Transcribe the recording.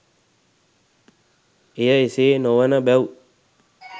එය එසේ නොවන බැව්